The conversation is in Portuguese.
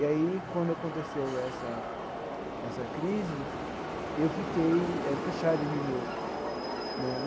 E aí, quando aconteceu essa essa crise, eu fiquei eh fechado em mim mesmo né.